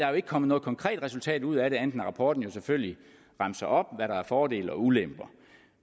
jo ikke kommet noget konkret resultat ud af det andet rapporten jo selvfølgelig remser op hvad der er fordele og ulemper